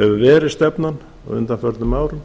verið stefnan á undanförnum árum